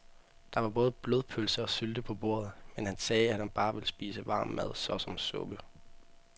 Der var både blodpølse og sylte på bordet, men han sagde, at han bare ville spise varm mad såsom suppe.